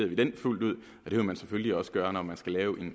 vi den fuldt ud og det vil man selvfølgelig også gøre når man skal lave